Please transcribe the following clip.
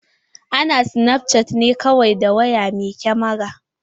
Ana snapchatting ne kawai da waya mai kamara.